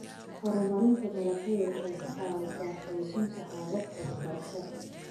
Horumarinta dalagyadu waxay ka caawisaa xoojinta hababka waxbarashada.